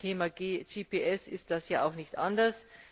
Beim Thema GPS ist das ja auch nicht anders.